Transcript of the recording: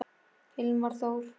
Hilmar Þór.